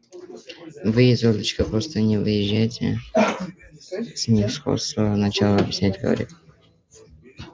вы изольдочка просто не въезжаете снисходительно начал объяснять хорёк